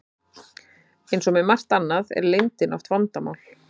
Eins og með margt annað er leyndin oft vandamál.